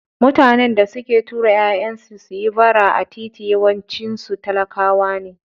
Mutanen da suke tura ƴaƴansu suyi bara a titi yawancinsu talakawa ne.